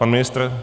Pan ministr?